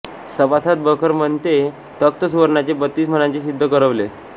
सभासद बखर म्हणते तख्त सुवर्णाचे बत्तीस मणांचे सिद्ध करवले